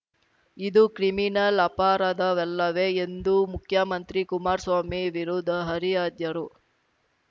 ಇದು ಕ್ರಿಮಿನಲ್‌ ಅಪರಾಧವಲ್ಲವೇ ಎಂದು ಮುಖ್ಯಮಂತ್ರಿ ಕುಮಾರ್ ಸ್ವಾಮಿ ವಿರುದ್ಧ ಹರಿಹಾದ್ಯರು